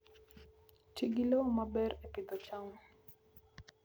Ti gi lowo maber e Pidhoo cham